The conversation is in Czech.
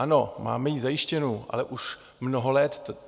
Ano, máme ji zajištěnu, ale už mnoho let.